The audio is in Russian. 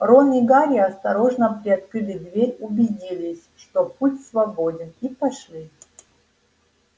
рон и гарри осторожно приоткрыли дверь убедились что путь свободен и пошли